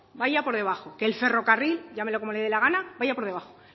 vaya por debajo que el ferrocarril llámelo como le dé la gana vaya por debajo